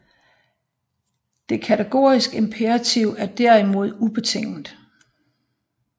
Det kategoriske imperativ er derimod ubetinget